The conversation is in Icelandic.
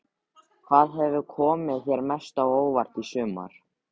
Hvað hefur komið þér mest á óvart í sumar?